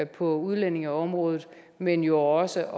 på udlændingeområdet men jo også